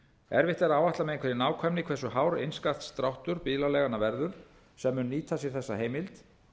erfitt er að áætla með einhverri nákvæmni hversu hár innskattsdráttur bílaleiganna verður sem munu nýta sér þessa heimild